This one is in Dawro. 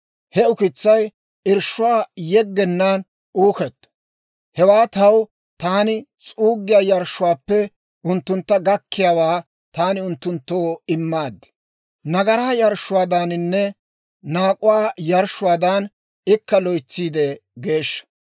He ukitsay irshshuwaa yeggenaan uuketto. Hewaa taw taman s'uuggiyaa yarshshuwaappe unttuntta gakkiyaawaa taani unttunttoo immaad. Nagaraa yarshshuwaadaaninne naak'uwaa yarshshuwaadan ikka loytsiide geeshsha.